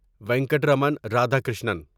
Venkataraman Radhakrishnan